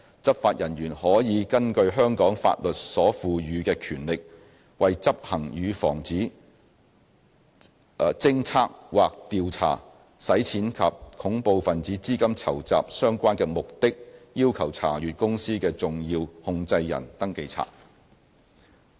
執法人員可以根據香港法律所賦予的權力，為執行與防止、偵測或調查洗錢或恐怖分子資金籌集相關的目的，要求查閱公司的"重要控制人登記冊"。